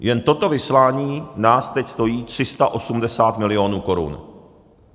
Jen toto vyslání nás teď stojí 380 milionů korun.